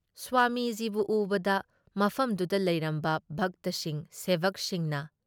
ꯁ꯭ꯋꯥꯃꯤꯖꯤꯕꯨ ꯎꯕꯗ ꯃꯐꯝꯗꯨꯗ ꯂꯩꯔꯝꯕ ꯚꯛꯇꯁꯤꯡ ꯁꯦꯕꯛꯁꯤꯡꯅ